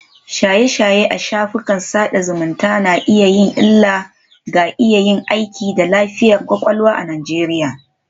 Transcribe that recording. Shaye-shaye a shafukan sada zumunta na iya yin illa ga iya aiki da lafiyar kwakwalwa a Najeriya